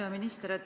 Hea minister!